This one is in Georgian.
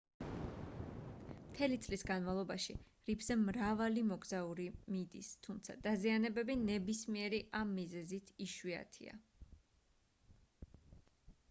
მთელი წლის განმავლობაში რიფზე მრავალი მოგზაური მიდის თუმცა დაზიანებები ნებისმიერი ამ მიზეზით იშვიათია